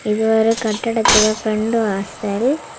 இது ஒரு கட்டடத்துக்கா ஃப்ரெண்டு வாசல்.